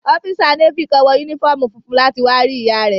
Ọ́físà Nééfì kan wọ yúnífọ́ọ̀mù funfun láti wá rí ìyá rẹ̀